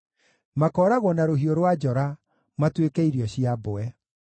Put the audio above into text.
Makooragwo na rũhiũ rwa njora matuĩke irio cia mbwe.